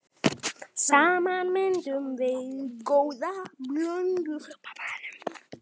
Saman myndum við góða blöndu.